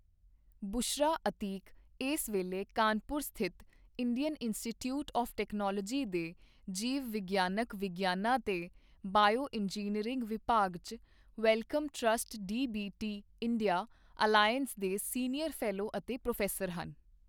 ਬੁਸ਼ਰਾ ਅਤੀਕ ਇਸ ਵੇਲੇ ਕਾਨਪੁਰ ਸਥਿਤ ਇੰਡੀਅਨ ਇੰਸਟੀਚਿਊਟ ਆੱਫ ਟੈਕਨੋਲੋਜੀ ਦੇ ਜੀਵ ਵਿਗਿਆਨਕ ਵਿਗਿਆਨਾਂ ਤੇ ਬਾਇਓਇੰਜੀਨੀਅਰਿੰਗ ਵਿਭਾਗ ਚ Wellcome Trust DBT India Alliance ਦੇ ਸੀਨੀਅਰ ਫ਼ੈਲੋ ਅਤੇ ਪ੍ਰੋਫ਼ੈਸਰ ਹਨ।